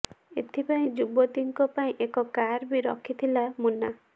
ଏଥିପାଇଁ ଯୁବତୀଙ୍କ ପାଇଁ ଏକ କାର୍ ବି ରଖିଥିଲା ମୁନ୍ନା